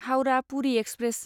Howrah Puri express